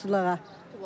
Pilotçuluğa.